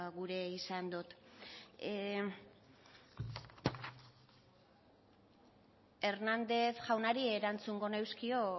gure izan dot hernández jaunari erantzungo nioke